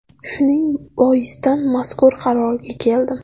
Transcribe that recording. Shuning boisdan mazkur qarorga keldim.